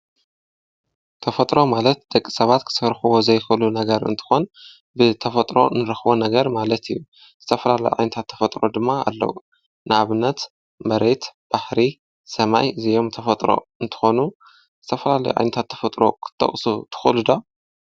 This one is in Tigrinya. ተፈጥሮ ማለት ደቂ ሰባት ክሠፈርኮዎ ዘይኮሉ ነገር እንትኾን ብተፈጥሮ ንረኽቦ ነገር ማለት እዩ ዝተፈላለይ ኣይንታት ተፈጥሮ ድማ ኣለዉ ንኣብነት መሬት ባሕሪ ሰማይ ዘዮም ተፈጥሮ እንተኾኑ ዝተፍላለይ ኣንታ ተፈጥሮ ኽተቕሱ ትዂሉዶ